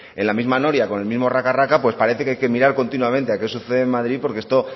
en la misma noria con el mismo raca raca pues parece que hay que mirar continuamente a qué sucede en madrid porque esto